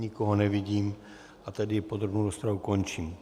Nikoho nevidím, a tedy podrobnou rozpravu končím.